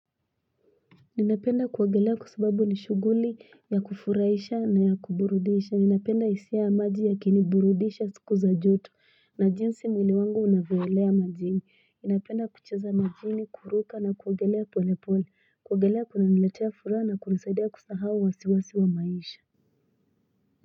Ninapenda kuwagelea kusubabu nishuguli ya kufuraisha na ya kuburudisha. Ninapenda isia ya maji ya kiniburudisha siku za jotu. Na jinsi mwili wangu unawelea majini. Ninapenda kucheza majini, kuruka na kuwagelea pole pole. Kuwagelea kuna niletea fura na kunisaidia kusahawa wasiwasi wa maisha.